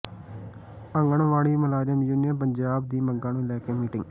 ਆਂਗਣਵਾੜੀ ਮੁਲਾਜ਼ਮ ਯੂਨੀਅਨ ਪੰਜਾਬ ਦੀ ਮੰਗਾਂ ਨੂੰ ਲੈ ਕੇ ਮੀਟਿੰਗ